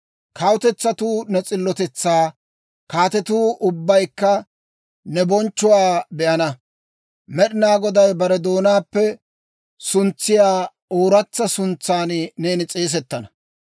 Kawutetsatuu ne s'illotetsaa, kaatetuu ubbaykka ne bonchchuwaa be'ana. Med'inaa Goday bare doonaappe suntsiyaa ooratsa suntsan neeni s'eesettana.